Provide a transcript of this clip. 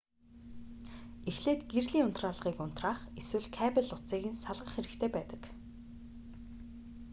эхлээд гэрлийн унтраалгыг унтраах эсвэл кабель утсыг нь салгах хэрэгтэй байдаг